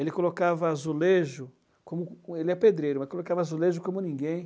Ele colocava azulejo, como co, ele é pedreiro, mas colocava azulejo como ninguém.